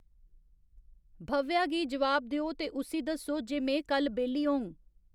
भव्या गी जवाब देओ ते उस्सी दस्सो जे में कल बेह्ल्ली होङ